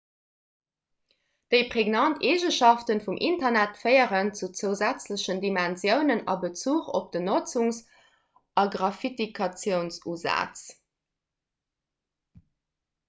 déi pregnant eegenschafte vum internet féieren zu zousätzlechen dimensiounen a bezuch op den notzungs a gratifikatiounsusaz